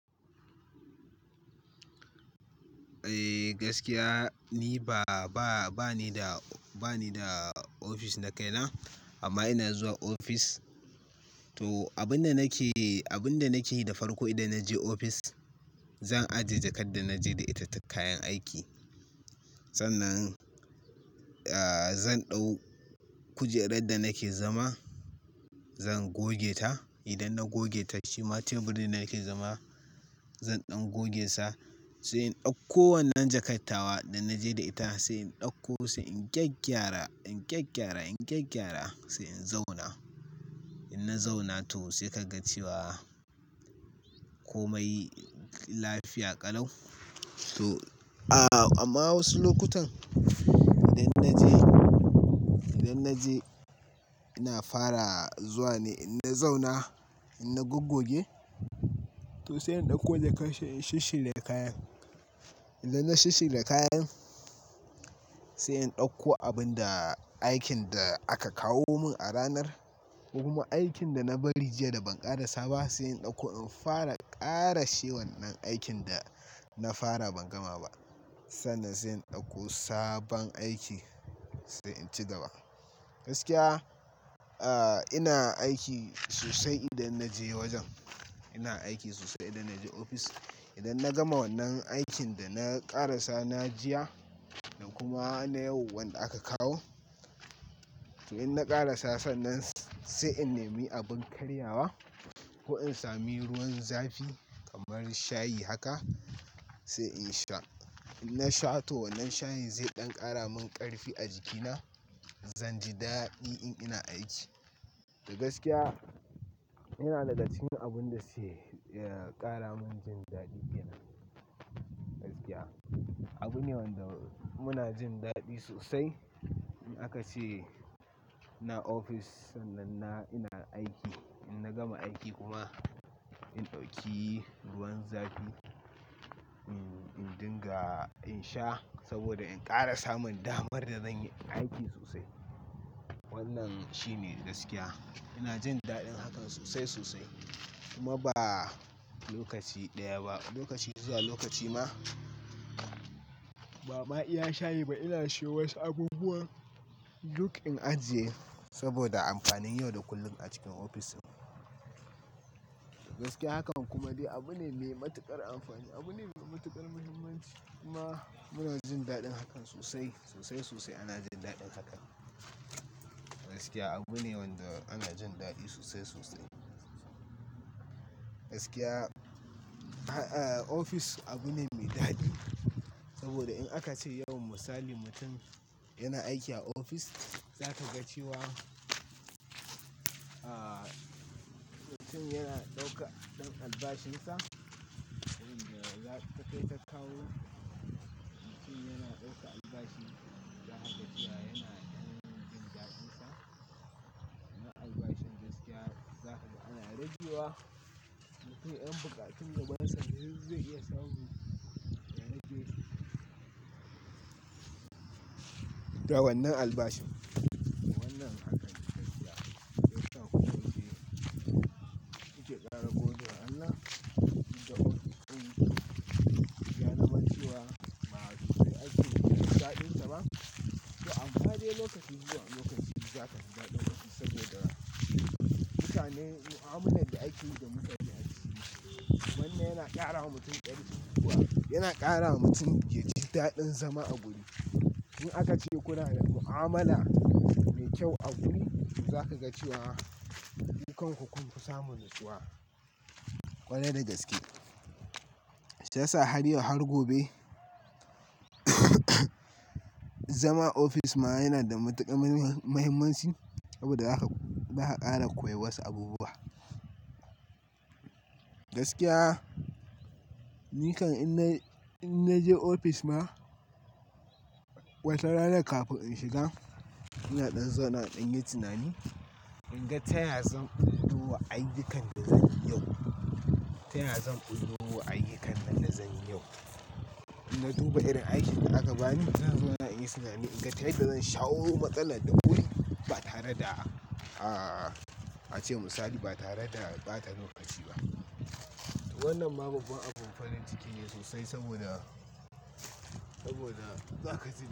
Eh, gaskiya ni ba, ba, ba ni da, ba ni da ofis na kai na amma ina zuwa ofis. To, abin da nake, abin da nake yi da farko idan na je ofis, zan ajiye jakar da na je da ita da kayan aiki. Sannan, ah, zan ɗau-- kujerar da nake zama zan goge ta. Idan na goge ta shima teburin da nake zama zan ɗan goge sa sai in ɗauko wannan jakattawa da na je da ita sai in ɗauko sai in gyagyara, in kyakyara, in gyagyara sai in zauna. In na zauna to sai ka ga cewa komai lafiya ƙalau. To, a amma wasu lokutan idan na je, idan na je ina fara zuwa ne in na zauna, in na goggoge to sai in ɗauko in kashe, in shisshire da kayan. Idan na shisshire da kayan sai in ɗauko abin da aikin da aka kawo mun a ranar kuma aikin da na bari jiya da ban ƙarasa ba sai in ɗauko in fara ƙara she wannan aikin da na fara ban gama ba. Sannan sai in ɗauko sabon aiki sai in ci gaba. Gaskiya, ah, ina aiki sosai idan na je wajen. Ina aiki sosai idan na je ofis. Idan na gama wannan aikin da na ƙara sana jiya da kuma na yau wanda aka kawo to in na ƙarasasa nan sai in nemi abin karyawa ko in sami ruwan zafi kamar shayi haka sai in sha. In na sha to wannan shayin zai ɗan ƙara mun ƙarfi a jikina, zan ji daɗi in ina aiki. To gaskiya ina daɗa cin abun da sai, ya ƙara mun jin daɗi kenan. Gaskiya, abu ne wanda muna jin daɗi sosai. In aka ce ina ofis sannan ina, ina aiki, in na gama aiki kuma in ɗauki ruwan zafi, in, in dinga in sha saboda in ƙara samun damar da zan yi aiki sosai. Wannan shine gaskiya. Ina jin daɗin hakan sosai, sosai kuma ba lokaci ɗaya ba. Lokaci zuwa lokaci ma ba ma iya shayi ba ina shan wasu abubuwa duk in ajiye saboda amfanin yau da kullum a cikin ofishin. Gaskiya hakan kuma dai abu ne mai matuƙar amfani, abu ne mai matuƙar muhimmanci kuma muna jin daɗin hakan sosai, sosai, sosai ana jin daɗin hakan. Gaskiya abu ne wanda ana jin daɗi sosai, sosai. Gaskiya, ha-- ofis abu ne mai daɗi saboda in aka ce yau misali mutum yana aiki a ofis za ka ga cewa, ah, mutum yana ɗauka ɗan albashinsa, abin da za-- da kai ta kawo. Mutum yana ɗaukan albashi. Za ka ga cewa yana yin jin daɗinsa na albashin gaskiya. Za ka ga ana rayuwa. Mutum yan buƙatun da wansa yanzu zai iya samu idan ya je. Da wannan albashin. Wannan aka ji gaskiya. Idan kun je ku shiga ƙara gobe da Allah, idan kun bi ku biya na maciwa ma'aikaci da jin daɗinsa ba to amfani lokaci zuwa lokaci ba za ka fi daɗa lokaci saboda mutane mu'amalar da ake yi da mutane a cikin wannan yana ƙara wa mutum ƙarfi kuma yana ƙara wa mutum ya ji daɗin zama a guri. In aka ce kuna da mu'amala mai kyau a guri za ka ga cewa ayyukan ku kun fi samun nutsuwa. Kwarai da gaske. Sai sa har yau har gobe. Zama ofis ma yana da matuƙar muhim-muhimanci saboda haka za ka ƙara koyi wasu abubuwa. Gaskiya, ni kan in na, in na je ofis ma watan ranar kafin in shiga ina ɗan zauna in yi tunani. In ga taya zan ɓullo wa ayyukan da zan yi yau. Taya zan ɓullo wa ayyukan da na zan yi yau. In na duba irin aikin da aka bani za zuwa in yi tunani in ga ta yadda zan shawo matsala duk wuri ba tare da, ah, a ce misali ba tare da ɓata lokaci ba. Wannan ma babba abun farin ciki ne sosai saboda, saboda za ka je.